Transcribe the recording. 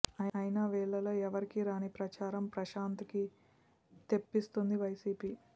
అయినా వీళ్ళలో ఎవరికీ రాని ప్రచారం ప్రశాంత్ కి తెప్పిస్తోంది వైసీపీ